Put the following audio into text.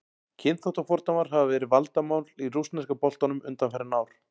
Kynþáttafordómar hafa verið vandamál í rússneska boltanum undanfarin ár.